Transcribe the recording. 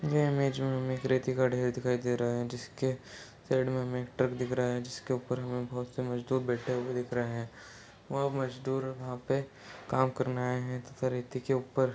ये इमेज हमें एक रेती का ढेर दिखाई दे रहा है जिसके साइड में हमें एक ट्रक दिख रहा है जिसके ऊपर हमें बहुत से मजदूर दिखाई दे रहे हैं वह मजदूर वहाँ पे काम करने आये हैं रेती के ऊपर--